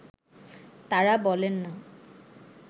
তাঁরা বলেন না